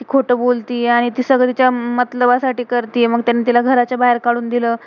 ती खोटं बोलतीये. आणि ती सगळ तिच्या मातलबा साठी करतीये. मग त्यानी तिला घराच्या बाहेर काडून दिलं.